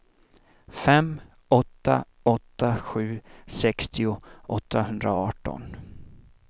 fem åtta åtta sju sextio åttahundraarton